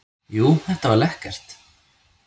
Jú, þetta var lekkert.